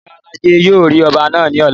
Ìyálájé yóò rí ọba náà ní ọ̀la